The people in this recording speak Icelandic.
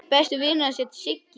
Besti vinur hans hét Siggi.